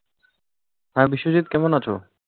হ্যাঁ, বিশ্বজিৎ, কেমন আছো?